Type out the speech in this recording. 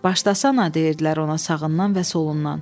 Başlasan deyirdilər ona sağından və solundan.